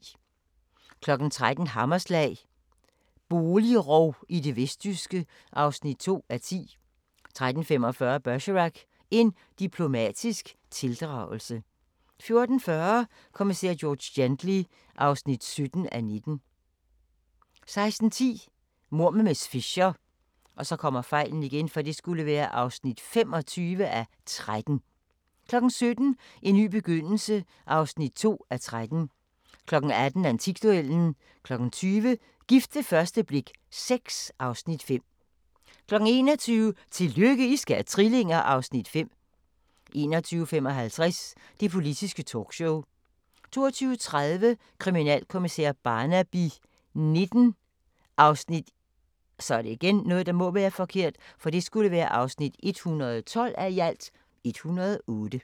13:00: Hammerslag – boligrov i det vestjyske (2:10) 13:45: Bergerac: En diplomatisk tildragelse 14:40: Kommissær George Gently (17:19) 16:10: Mord med miss Fisher (25:13) 17:00: En ny begyndelse (2:13) 18:00: Antikduellen (3:12) 20:00: Gift ved første blik VI (Afs. 5) 21:00: Tillykke, I skal have trillinger! (Afs. 5) 21:55: Det Politiske Talkshow 22:30: Kriminalkommissær Barnaby XIX (112:108)